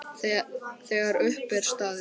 Þegar upp er staðið?